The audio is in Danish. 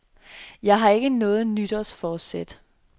Jeg har ikke noget nytårsforsæt.